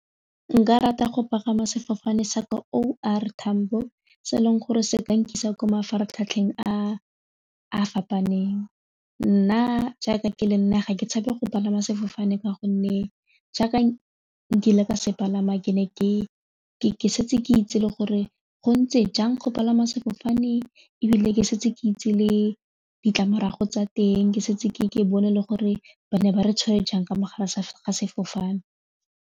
Nka nka rata go pagama sefofane sa ko O R Tambo se eleng gore se ka nkise ko mafaratlhatlheng a a fapaneng nna jaaka ke le nna ga ke tshabe go palama sefofane ka gonne jaaka ke ile ka se palama ke ne ke ke setse ke itse le gore go ntse jang go palama sefofane ebile ke setse ke itse le ditlamorago tsa teng ke setse ke bone le gore ba ne ba re tshware jang ka mogara ga sefofane.